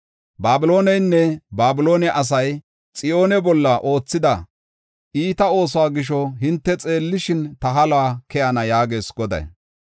“Babilooneynne Babiloone asay Xiyoone bolla oothida iita oosuwa gisho hinte xeellishin ta halo keyana” yaagees Goday.